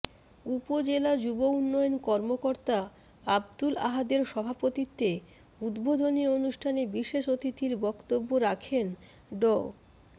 উপজেলা যুব উন্নয়ন কর্মকর্তা আব্দুল আহাদের সভাপতিত্বে উদ্বোধনী অনুষ্ঠানে বিশেষ অতিথির বক্তব্য রাখেন ড